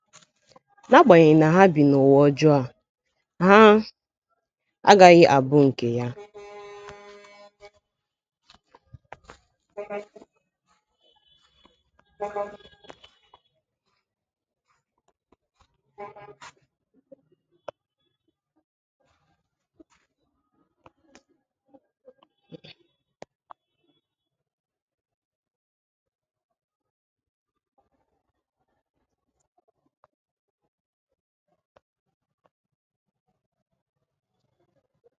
N’agbanyeghị na ha bi n’ụwa ọjọọ a, ha agaghị abụ nke ya.